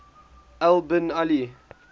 al bin ali